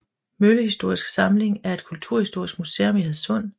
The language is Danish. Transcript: Møllehistorisk Samling er et kulturhistorisk museum i Hadsund